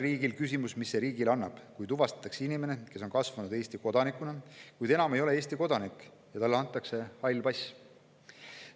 Nüüd on küsimus, mis see riigile annab, kui tuvastatakse inimene, kes on kasvanud Eesti kodanikuna, kuid enam ei ole Eesti kodanik, ja talle antakse hall pass.